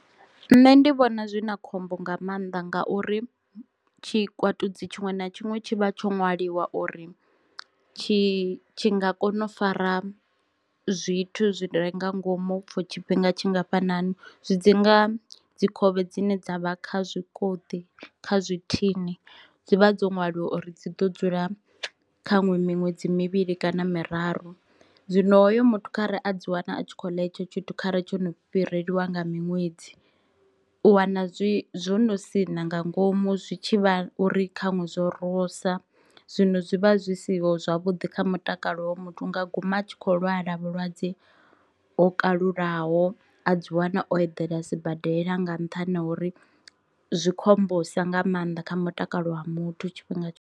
Nṋe ndi vhona zwi na khombo nga maanḓa ngauri tshikwatudzi tshiṅwe na tshiṅwe tshi vha tsho ṅwaliwa uri tshi tshi nga kona u fara zwithu zwi re nga ngomu for tshifhinga tshingafhanani, zwi dzi nga dzi khovhe dzine dzavha kha zwikoṱi kha zwi thini dzi vha dzo ṅwaliwa uri dziḓo dzula kha nwe miṅwedzi mivhili kana miraru. Zwino hoyo muthu khare a dzi wana a tshi kho ula hetsho tshithu khare tsho no fhirelwa nga miṅwedzi u wana zwi zwo no sina nga ngomu zwi tshi vha uri khanwe zwo rosa. Zwino zwi vha zwi siho zwavhuḓi kha mutakalo muthu a nga guma tshi kho lwala vhulwadze ho kalulaho a dzi wana o eḓela a sibadela nga nṱhani ha uri zwi khombosa nga maanḓa kha mutakalo wa muthu tshifhinga